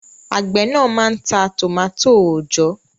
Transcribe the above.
Àgbẹ̀ náà máa ń ta tòmátò òòjọ́